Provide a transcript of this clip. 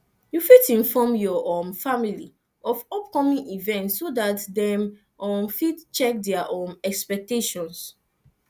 you fit inform your um family of upcoming events so dat dem um go fit check their um expectations